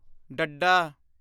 ਡੱਡਾ